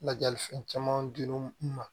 Lajali fɛn caman di n ma